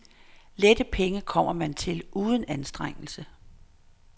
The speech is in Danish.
Lette penge kommer man til uden anstrengelse.